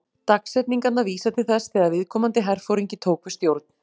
Dagsetningarnar vísa til þess þegar viðkomandi herforingi tók við stjórn.